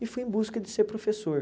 E fui em busca de ser professor.